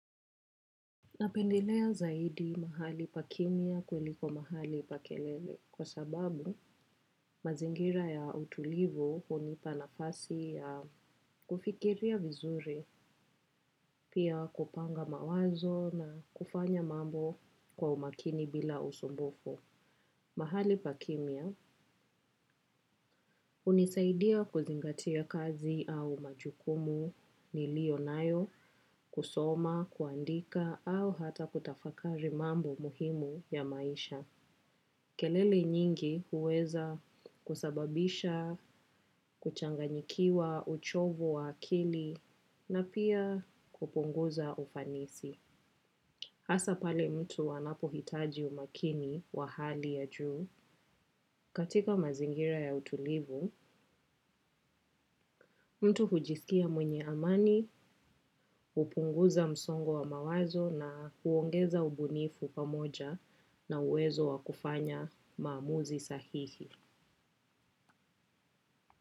Napendelea zaidi mahali pa kimya kuiliko mahali pa kelele kwa sababu mazingira ya utulivu hunipa nafasi ya kufikiria vizuri pia kupanga mawazo na kufanya mambo kwa umakini bila usumbufu. Mahali pa kimya hunisaidia kuzingatia kazi au majukumu nliiyo nayo kusoma, kuandika au hata kutafakari mambo muhimu ya maisha. Kelele nyingi huweza kusababisha, kuchanganyikiwa, uchovu wa akili na pia kupunguza ufanisi. Hasa pale mtu anapo hitaji umakini wa hali ya juu, katika mazingira ya utulivu, mtu hujisikia mwenye amani, kupunguza msongo wa mawazo na huongeza ubunifu pamoja na uwezo wakufanya maamuzi sahihi.